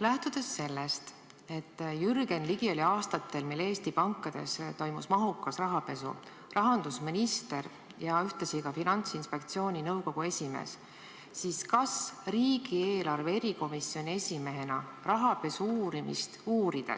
Lähtudes sellest, et Jürgen Ligi oli aastatel, mil Eesti pankades toimus mahukas rahapesu, rahandusminister ja ühtlasi ka Finantsinspektsiooni nõukogu esimees, kas siis, kui riigieelarve kontrolli erikomisjoni esimehena ta rahapesu uurimist uurib,